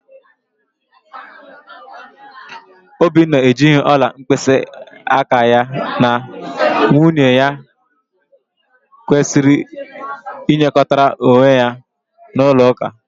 Obinna ejighị ọla mkpịsịaka ya na nwunye ya kwesịrị ịnyekọrịta onwe ha n'ụlọụka.